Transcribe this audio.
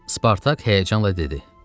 Spartak həyəcanla dedi: